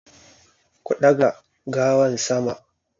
Ku daga gawan sama!